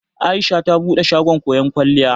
Aisha ta bude shagon koyon kwalliya.